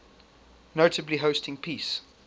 notably hosting peace